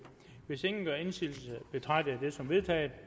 hvis ingen gør indsigelse betragter jeg dette som vedtaget